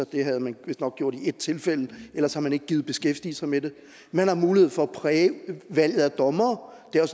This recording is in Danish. det havde man vistnok gjort i et tilfælde ellers har man ikke gidet beskæftige sig med det man har mulighed for at præge valget af dommere det er